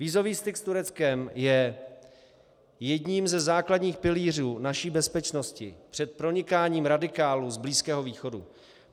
Vízový styk s Tureckem je jedním ze základních pilířů naší bezpečnosti před pronikáním radikálů z Blízkého východu.